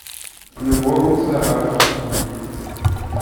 любовница аш ди